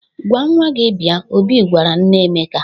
"Gwa nwa gị bịa," Obi gwara nne Emeka.